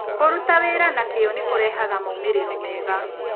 Kũruta wĩra na kĩyo nĩ kũrehaga moimĩrĩro mega.